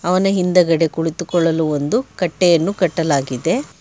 ಅವನ ಹಿಂದಗಡೆ ಕುಳಿತುಕೊಳ್ಳಲು ಒಂದು ಕಟ್ಟೆಯನ್ನು ಕಟ್ಟಲಾಗಿದೆ.